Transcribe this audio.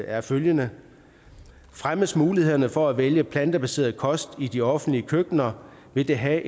er følgende fremmes muligheden for at vælge plantebaseret kost i de offentlige køkkener vil det have